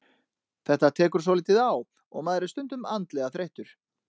Þetta tekur svolítið á og maður er stundum andlega þreyttur.